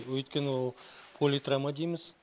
өйткені ол политравма дейміз